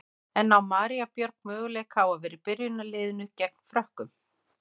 En á María Björg möguleika á að vera í byrjunarliðinu gegn Frökkum?